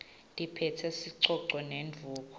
liphetse sicoco nendvuku